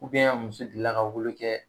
muso delila ka wolo kɛ